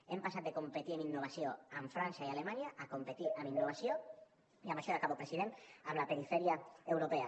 hem passat de competir en innovació amb frança i alemanya a competir en innovació i amb això ja acabo president amb la perifèria europea